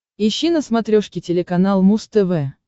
ищи на смотрешке телеканал муз тв